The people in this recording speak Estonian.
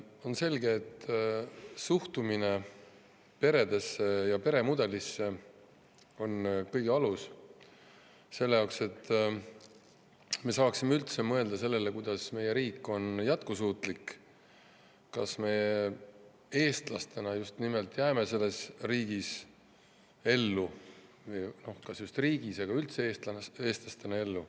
On selge, et suhtumine peredesse ja peremudelisse on kõige alus, et me saaksime üldse mõelda sellele, kuidas meie riik on jätkusuutlik, kas me eestlastena jääme selles riigis ellu – no kas just riigis, aga kas me üldse eestlastena jääme ellu.